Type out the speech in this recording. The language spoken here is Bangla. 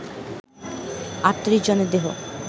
৩৮ জনের দেহ